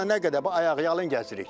Bax burda nə qədər ayaqyalın gəzirik.